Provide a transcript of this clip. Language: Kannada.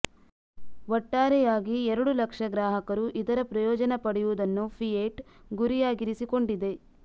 ಒಟ್ಟಾರೆಯಾಗಿ ಎರಡು ಲಕ್ಷ ಗ್ರಾಹಕರು ಇದರ ಪ್ರಯೋಜನ ಪಡೆಯುವುದನ್ನು ಫಿಯೆಟ್ ಗುರಿಯಾಗಿರಿಸಿಕೊಂಡಿದೆ